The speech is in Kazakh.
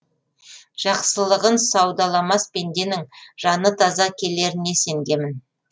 жақсылығын саудаламас пенденің жаны таза келеріне сенгемін